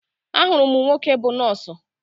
Ahụrụ m nwoke bú nọọsụ